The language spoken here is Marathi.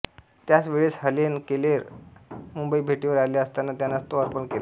त्याच वेळेस हेलेन केलर मुंबई भेटीवर आल्या असताना त्यांनाच तो अर्पण केला